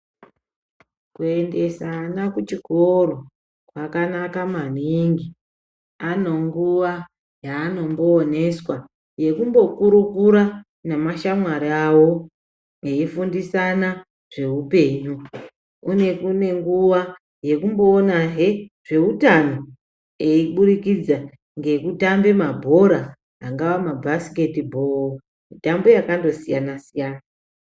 Kuendesa vana kuchikoro zvakanaka maningi. Anenguwa yaanombo oneswa yekumbo kurukura nemashamwari avo eifundisana zveupenyu. Kune nguwa yekumbo onahe zveutano eburidza ngekutambe angave mabasket ball ,mitambo yakando siyana-siyana.